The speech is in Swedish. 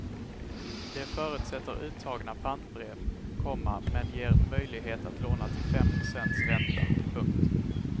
Det förutsätter uttagna pantbrev, komma men ger möjlighet att låna till fem procents ränta. punkt